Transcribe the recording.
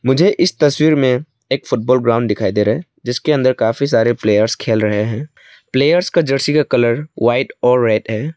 मुझे इस तस्वीर में एक फुटबॉल ग्राउंड दिखाई दे रहा है जिसके अंदर काफी सारे प्लेयर्स खेल रहे हैं प्लेयर्स का जर्सी का कलर व्हाइट और रेड है।